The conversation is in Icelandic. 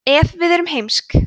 ef við erum heimsk